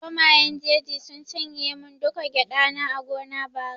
Zomayen jeji sun cinye mun duka gyada na a gona bara